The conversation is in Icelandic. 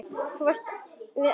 Þú varst að enda við.